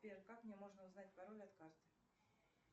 сбер как мне можно узнать пароль от карт